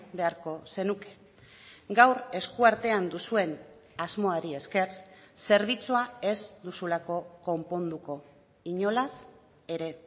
beharko zenuke gaur esku artean duzuen asmoari esker zerbitzua ez duzulako konponduko inolaz ere